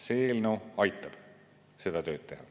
See eelnõu aitab seda tööd teha.